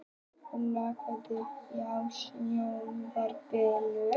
Ormhildur, kveiktu á sjónvarpinu.